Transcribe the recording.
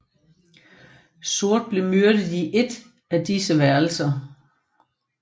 Sort blev myrdet i ét af disse værelser